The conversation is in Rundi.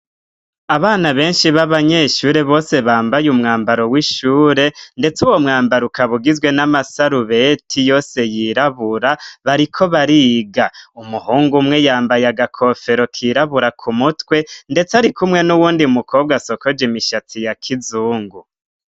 Abana benshi b'abanyeshure bose bambaye umwambaro w'ishure, ndetse uwo mwambaro ukabugizwe n'amasarubeti yose yirabura bariko bariga, umuhungu umwe yambaye agakofero kirabura ku mutwe, ndetse ari kumwe n'uwundi mukobwa asokoje imishatsi ya kizungu.